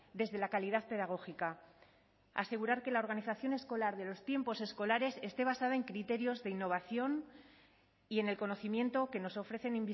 desde la calidad pedagógica asegurar que la organización escolar de los tiempos escolares esté basada en criterios de innovación y en el conocimiento que nos ofrecen